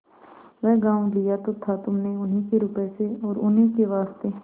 वह गॉँव लिया तो था तुमने उन्हीं के रुपये से और उन्हीं के वास्ते